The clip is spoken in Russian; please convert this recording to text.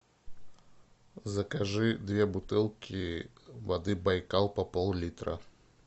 закажи две бутылки воды байкал по пол литра